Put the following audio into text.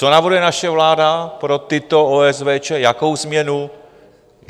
Co navrhuje naše vláda pro tyto OSVČ, jakou změnu?